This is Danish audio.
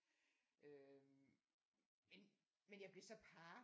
Øh men men jeg blev så par